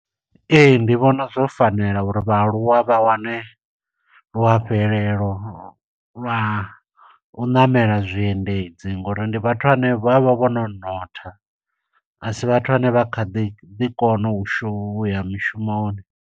Ee, ndi vhona zwo fanela uri vhaaluwa vha wane luafhelelo lwa u ṋamela zwiendedzi, ngo uri ndi vhathu vhane vha vha vho no notha. A si vhathu vhane vha kha ḓi, ḓi kona u shu, u ya mishumoni.